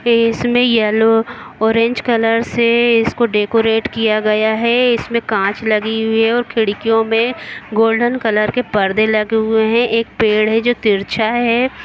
इसमें yellow orange colour से इसको डेकोरेट किया गया है इसमें कांच लगी हुई है और खिड़कियों में गोल्डन कलर के परदे लगे हुए हैं एक पेड़ है जो तिरछा है।